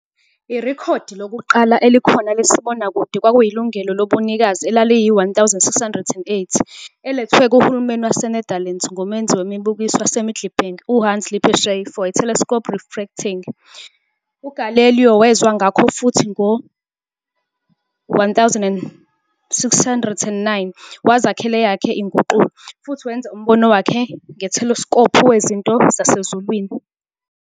Irekhodi lokuqala elikhona lesibonakude kwakuyilungelo lobunikazi elaliyi-1608 elethwe kuhulumeni waseNetherlands ngumenzi wemibukiso waseMiddelburg uHans Lippershey for a telescope refracting. UGalileo wezwa ngakho futhi, ngo-1609, wazakhela eyakhe inguqulo, futhi wenza umbono wakhe ngeteleskopu wezinto zasezulwini